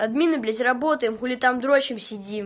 админы безработным хули там дрочим